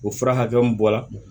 O fura hakɛ mun bɔ la